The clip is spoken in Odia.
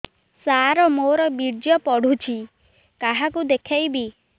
ସାର ମୋର ବୀର୍ଯ୍ୟ ପଢ଼ୁଛି କାହାକୁ ଦେଖେଇବି